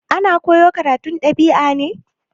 Ana koyo karatun dab'i ne?